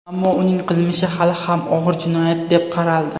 Ammo uning qilmishi hali ham og‘ir jinoyat deb qaraldi.